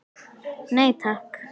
Nei takk.